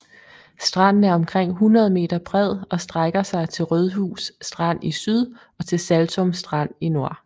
Stranden er omkring 100 m bred og strækker sig til Rødhus Strand i syd og til Saltum Strand i nord